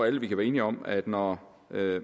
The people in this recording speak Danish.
alle kan være enige om at når